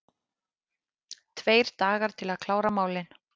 Tveir dagar til að klára málin